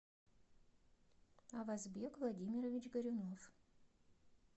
авазбек владимирович горюнов